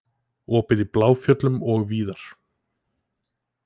Opið í Bláfjöllum og víðar